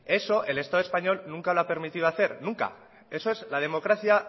eso el estado español nunca lo ha permitido hacer nunca eso es la democracia